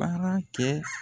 Baara kɛ